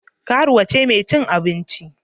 Karuwa ce mai cin abinci.